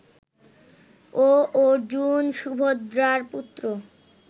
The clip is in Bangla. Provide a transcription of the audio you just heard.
ও অর্জুন, সুভদ্রার পুত্র